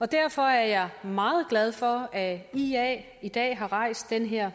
derfor er jeg meget glad for at ia i dag har rejst den her